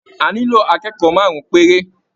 A nílò akẹ́kọ̀ọ́ márùn-ún péré